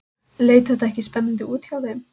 Leit þetta ekki spennandi út hjá þeim?